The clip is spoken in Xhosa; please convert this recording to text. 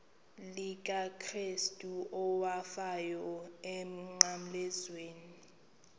likakrestu owafayo emnqamlezweni